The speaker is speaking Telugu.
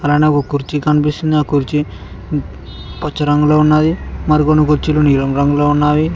పైన ఒక కుర్చీ కనిపిస్తుంది ఆ కుర్చీ పచ్చ రంగులో ఉన్నాది మరి కొన్ని కుర్చీలు నీలం రంగులో ఉన్నావి.